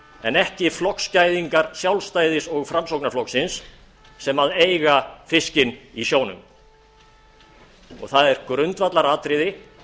en ekki flokksgæðingar sjálfstæðis og framsóknarflokksins sem eiga fiskinn í sjónum og það er grundvallaratriði